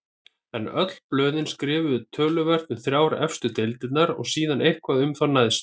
En öll blöðin skrifuðu töluvert um þrjár efstu deildirnar og síðan eitthvað um þá neðstu.